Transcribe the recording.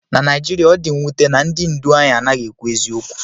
Na Naijiria, ọ dị mwute na ndị ndu anyị anaghị ekwu eziokwu